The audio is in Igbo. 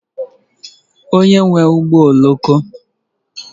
Onye nwe ụgbọ oloko?